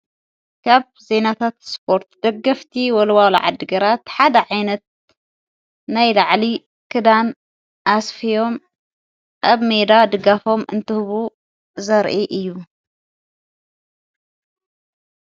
ካብ ዘይናታት ስጶርት ደገፍቲ ወልዋልዓ ድገራ ሓድ ዓይነት ናይ ዳዕሊ ክዳን ኣስፍዮም ኣብ ሜዳ ድጋፎም እንትህቡ ዘርኢ እዩ።